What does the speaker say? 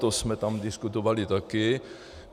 To jsme tam diskutovali také.